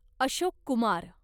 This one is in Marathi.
अशोक कुमार